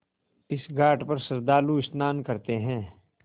इस घाट पर श्रद्धालु स्नान करते हैं